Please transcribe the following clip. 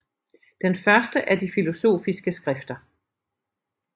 Den første er de filosofiske skrifter